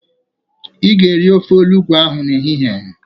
Ị ga-eri ofe olugbu ahụ n'ehihie.